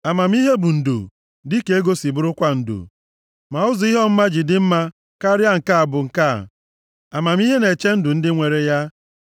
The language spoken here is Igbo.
Amamihe bụ ndo dịka ego si bụrụkwa ndo, ma ụzọ ihe ọmụma ji dị mma karịa bụ nke a: Amamihe na-echebe ndụ ndị nwere ya.